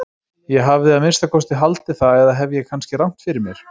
Ég hefði að minnsta kosti haldið það eða hef ég kannski rangt fyrir mér?